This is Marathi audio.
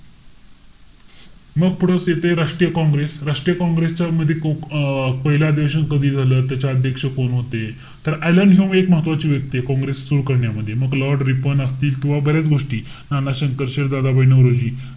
मग पुढचं येतंय राष्ट्रीय काँग्रेस. राष्ट्रीय काँग्रेस च्या मध्ये अं पाहिलं अधिवेशन कधी झालं? त्याचे अध्यक्ष कोण होते? तर ऍलन ह्यू हे एक महत्वाचे व्यक्तीय. काँग्रेस सुरु करण्यामध्ये. मग lord रिपन असतील किंवा बऱ्याच गोष्टी. नानाशंकर शेठ, दादाभाई नौरोजी.